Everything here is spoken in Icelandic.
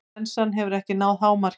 Flensan hefur ekki náð hámarki.